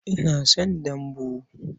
Ina son dambu.